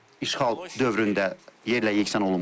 İşğal dövründə yerlə-yeksan olunmuşdur.